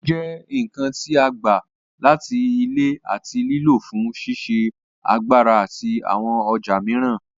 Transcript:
Epo jẹ́ nǹkan tí a gbà láti Ilẹ̀ àti lílò fún ṣíṣe agbára àti àwọn ọjà mìíràn.